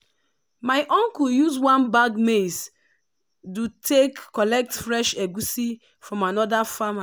my uncle use one bag maize do take collect fresh egusi from another farmer.